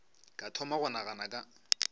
ka thoma go nagana ka